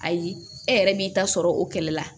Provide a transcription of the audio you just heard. Ayi e yɛrɛ b'i ta sɔrɔ o kɛlɛ la